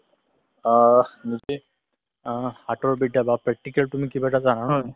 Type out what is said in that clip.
অ যদি অ হাতৰ বিদ্যা বা practical তুমি কিবা এটা জানা নহয়